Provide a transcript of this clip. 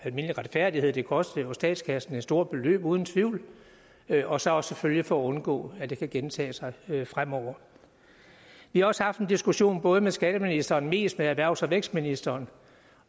almindelig retfærdighed det kostede jo statskassen et stort beløb uden tvivl og så selvfølgelig for at undgå at det kan gentage sig fremover vi har også haft en diskussion både med skatteministeren og mest med erhvervs og vækstministeren